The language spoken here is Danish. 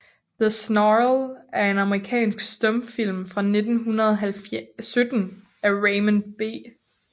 The Snarl er en amerikansk stumfilm fra 1917 af Raymond B